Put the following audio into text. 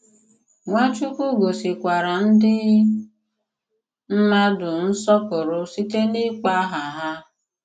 Nwàchùkwù gòsìkwàrà ndị mmàdù nsọ̀pụrụ̀ sịtè n’ịkpọ̀ àhà hà.